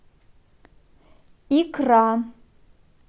икра